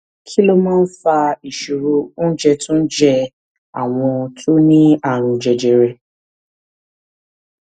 kí ló máa ń fa ìṣòro oúnjẹ tó ń jẹ àwọn tó ní àrùn jẹjẹrẹ